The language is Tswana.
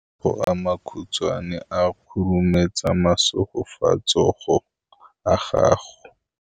matsogo a makhutshwane a khurumetsa masufutsogo a gago